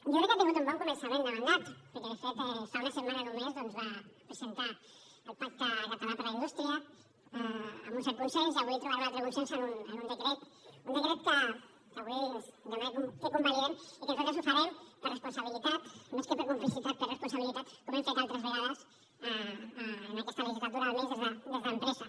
jo crec que ha tingut un bon començament de mandat perquè de fet fa una setmana només doncs va presentar el pacte català per a la indústria amb un cert consens i avui trobarà un altre consens en un decret un decret que avui ens demana que convalidem i que nosaltres ho farem per responsabilitat més que per complicitat per responsabilitat com hem fet altres vegades en aquesta legislatura almenys des d’empresa